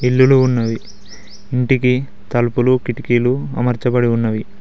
ఇల్లులు ఉన్నవి ఇంటికి తలుపులు కిటికీలు అమర్చబడి ఉన్నవి.